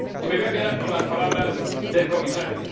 Y me voy a quedar con las palabras del Comisario.